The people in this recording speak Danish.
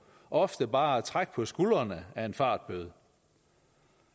ofte bare kan trække på skuldrene af en fartbøde